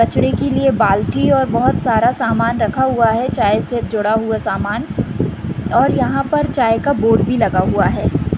बछड़े के लिए बाल्टी और बहुत सारा सामान रखा हुआ है चाय से जुडा हुआ सामान और यहाँ पर चाय का बोर्ड भी लगा हुआ है।